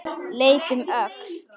Leit um öxl.